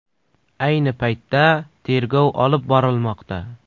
Ayni paytda tergov olib borilmoqda.